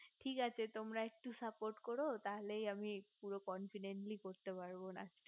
ঠিক আছে তোমরা একটু saffat করো তাহলে আমি পুরো confidently করতে পারব না